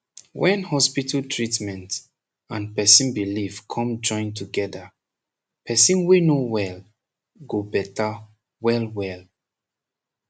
wen hospital treatment and person belief com join togeda person wey no wel go beta well well